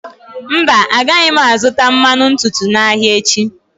Mba, agaghị m azụta mmanụ ntutu n'ahịa echi.